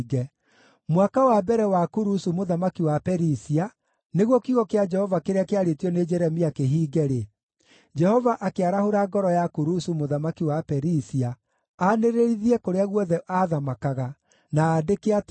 Mwaka wa mbere wa Kurusu mũthamaki wa Perisia, nĩguo kiugo kĩa Jehova kĩrĩa kĩarĩtio nĩ Jeremia kĩhiinge-rĩ, Jehova akĩarahũra ngoro ya Kurusu mũthamaki wa Perisia aanĩrĩrithie kũrĩa guothe aathamakaga, na andĩke atĩrĩ: